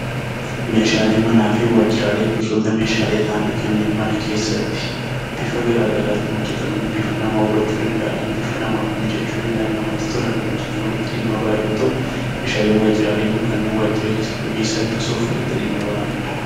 Meeshaaleen manaa fi waajiraalee gosoota Meeshaalee ta'anii kanneen mana keessatti bifa garaagaraatiin hojjetamanii, bifa nama hawwachuu danda'aniin , bifa nama bareeduu danda'aniin, hojjetaman dhimma itti bahan yoo ta'u, Meeshaalee waajiraalee immoo kanneen waajiraalee keessatti hojjii salphisuuf itti dhimma bahamudha.